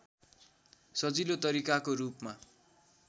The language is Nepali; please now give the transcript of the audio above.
सजिलो तरिकाको रूपमा